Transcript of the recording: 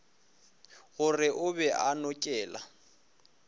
gore o be a nokela